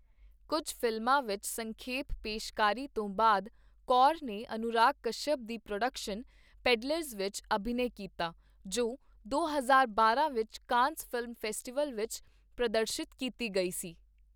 ਕੁੱਝ ਫਿਲਮਾਂ ਵਿੱਚ ਸੰਖੇਪ ਪੇਸ਼ਕਾਰੀ ਤੋਂ ਬਾਅਦ, ਕੌਰ ਨੇ ਅਨੁਰਾਗ ਕਸ਼ਯਪ ਦੀ ਪ੍ਰੋਡਕਸ਼ਨ ਪੈਡਲਰਜ਼ ਵਿੱਚ ਅਭਿਨੈ ਕੀਤਾ, ਜੋ ਦੋ ਹਜ਼ਾਰ ਬਾਰਾਂ ਵਿੱਚ ਕਾਨਸ ਫ਼ਿਲਮ ਫੈਸਟੀਵਲ ਵਿੱਚ ਪ੍ਰਦਰਸ਼ਿਤ ਕੀਤੀ ਗਈ ਸੀ।